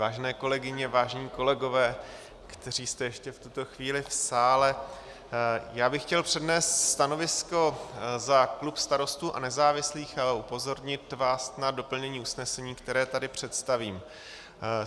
Vážené kolegyně, vážení kolegové, kteří jste ještě v tuto chvíli v sále, já bych chtěl přednést stanovisko za klub Starostů a nezávislých a upozornit vás na doplnění usnesení, které tady představím.